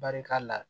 Barika la